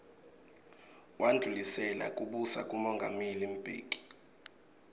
wandlulisela kubusa kumongameli mbeki